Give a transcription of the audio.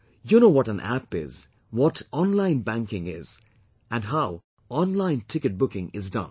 You know what an 'App' is, what 'online banking' is and how 'online ticket booking' is done